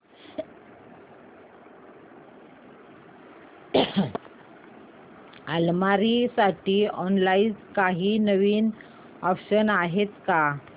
अलमारी साठी ऑनलाइन काही नवीन ऑप्शन्स आहेत का